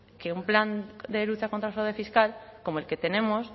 que un plan de lucha contra el fraude fiscal como el que tenemos